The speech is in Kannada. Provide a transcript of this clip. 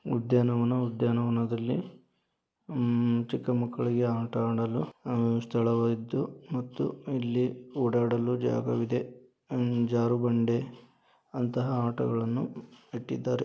ಉದ್ಯಾನವನ ಉದ್ಯಾನವನದಲ್ಲಿ ಚಿಕ್ಕ ಮಕ್ಕಳಿಗೆ ಆಟ ಆಡಲು ಸ್ಥಳವಾಗಿದ್ದು ಮತ್ತು ಎಲ್ಲಿ ಓಡಾಡಲು ಜಾಗವಿದೆ ಅಂಡ್ ಚಾರು ಬಂಡೆ ಅಂತ ಆಟಗಳನ್ನು ಇಟ್ಟಿದ್ದಾರೆ.